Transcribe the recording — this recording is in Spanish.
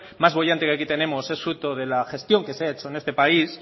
más boyante que aquí tenemos es fruto de la gestión que se ha hecho en este país